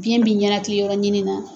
Biɲɛ b'i ɲɛnatigɛ yɔrɔ ɲini na.